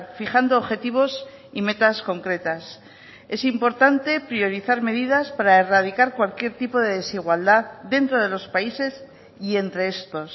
fijando objetivos y metas concretas es importante priorizar medidas para erradicar cualquier tipo de desigualdad dentro de los países y entre estos